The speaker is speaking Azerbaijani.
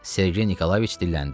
Sergey Nikolayeviç dilləndi.